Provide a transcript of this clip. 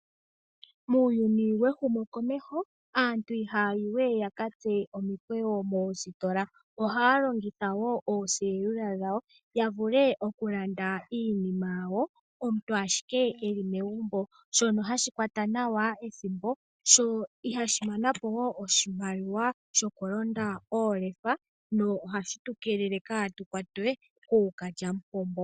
Muuyuni wehumokomeho aantu ihaya yi we yakatse omikweyo moositola ohaya longitha woo ooselula dhawo ya vule okulanda iinima yawo omuntu ashike eli megumbo shono hashi kwata nawa ethimbo sho ihashi mana po wo oshimaliwa shokulonda oolefa sho ohashi tu keelele kaatukwatwe kookalyamupombo.